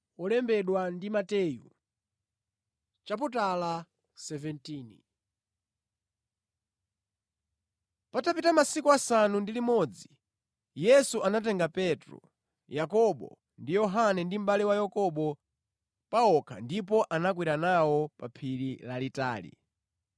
Patapita masiku asanu ndi limodzi Yesu anatenga Petro, Yakobo, ndi Yohane mʼbale wa Yakobo pa okha ndipo anakwera nawo pa phiri lalitali.